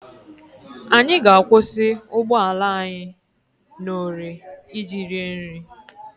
Anyị ga-akwụsị ụgbọala anyị n'ore iji rie nri.